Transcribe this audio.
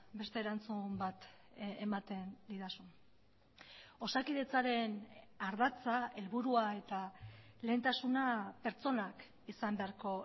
beste erantzun bat ematen didazun osakidetzaren ardatza helburua eta lehentasuna pertsonak izan beharko